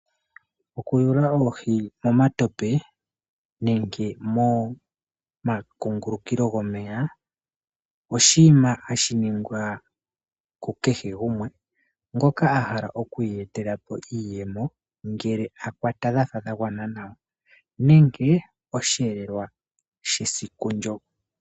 Okuyula oohi momatope nenge momakungulukilo gomeya oshinima hashi ningwa kukehe gumwengoka a hala oku iyetela po iiyemo uuna a kwata oohi dha fa dha gwana nawa nenge oku iyetela po osheelelwa shesiku ndyo.